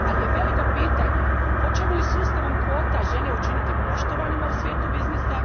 ali je veliko pitanje hoćemo li sustavom kvota žene učiniti poštovanima u svijetu biznisa.